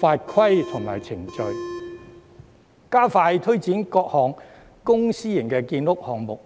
法規和程序；以及加快推展各項公私營建屋項目。